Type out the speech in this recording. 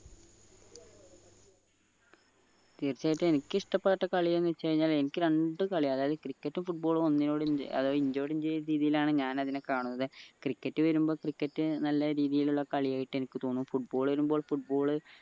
തീർച്ചയായിട്ടും എനിക്കിഷ്ടപ്പെട്ട കളി എന്ന് വെച്ച് കഴിഞ്ഞാ എനിക്ക് രണ്ട് കളിയും അതായത് cricket ഉം football ഉം അതായത് ഇഞ്ചോടിഞ്ചു എന്ന രീതിയിലാണ് ഞാൻ അതിനെ കാണുന്നത് cricket വരുമ്പോ cricket നല്ല രീതിയിലുള്ള കളി ആയിട്ട് എനിക്ക് തോന്നും football വരുമ്പോ football